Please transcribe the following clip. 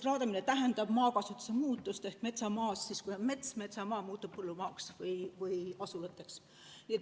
Raadamine tähendab maakasutuse muutust ehk siis metsamaa muutub põllumaaks või asulateks.